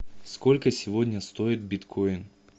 сколько сегодня стоит биткоин